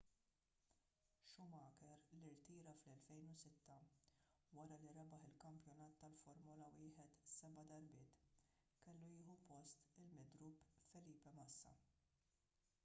schumacher li rtira fl-2006 wara li rebaħ il-kampjonat tal-formula 1 seba' darbiet kellu jieħu post il-midrub felipe massa